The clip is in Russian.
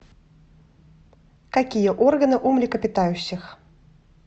какие органы у млекопитающих